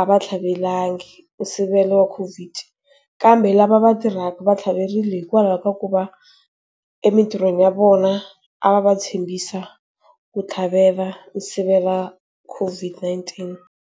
a va tlhavelangi, sivelo wa COVID. Kambe la lava va tirhaka va tlhaverile hikwalaho ka ku va emintirhweni ya vona, a va tshembisa va ku tlhavela u sivela COVID-19.